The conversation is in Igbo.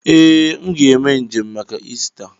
Ee, m ga eme njem maka Ista.